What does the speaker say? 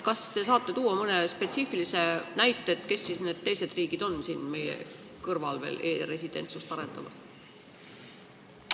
Kas te saate tuua mõne spetsiifilise näite, kes on siis need teised riigid meie kõrval, kes veel e-residentsust arendavad?